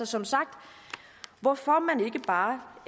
som sagt hvorfor man ikke bare